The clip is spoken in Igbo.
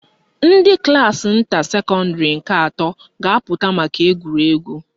Ndị klaasị nta secondary nke atọ ga-apụta maka egwuregwu